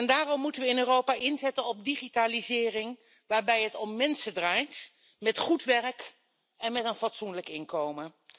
Daarom moeten we in Europa inzetten op digitalisering waarbij het om mensen draait, met goed werk en met een fatsoenlijk inkomen.